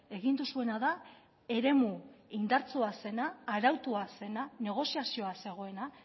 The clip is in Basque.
egin duzuena da eremu indartsua zena arautua zena negoziazioa zegoena